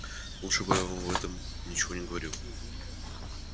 лучше бы я вам об этом ничего не говорил